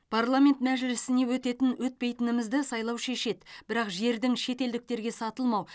парламент мәжілісіне өтетін өтпейтінімізді сайлау шешеді бірақ жердің шетелдіктерге сатылмау